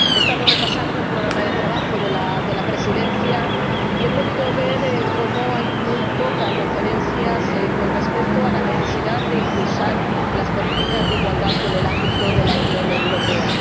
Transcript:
He estado repasando el programa de trabajo de la Presidencia y he podido ver que hay muy pocas referencias a la necesidad de impulsar las políticas de igualdad en el ámbito de la Unión Europea.